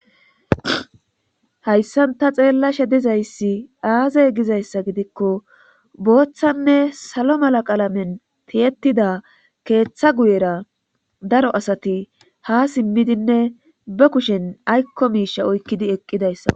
hayssan ta xeella shedizayssi aazey gizayssa gidikko booththanne salo mala qaalamen tiyetida keeththa guyera daro asati ha simmidinne ba kushen aykko miisha oykkidi eqqidayssa